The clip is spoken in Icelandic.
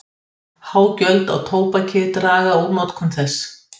Há gjöld á tóbak draga úr notkun þess.